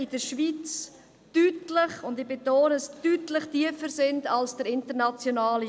Dabei berufe ich mich auf den «Taxation Index» der BAK Economics AG in Basel, welche dies gerade letzthin wieder dargelegt hat.